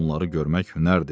Onları görmək hünərdir.